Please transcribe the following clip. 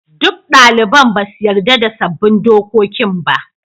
Duk daliban ba su yarda da sabbin dokokin ba.